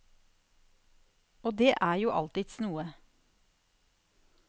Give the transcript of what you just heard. Og det er jo alltids noe.